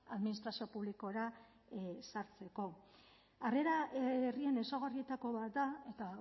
administrazio publikora sartzeko harrera herrien ezaugarrietako bat da eta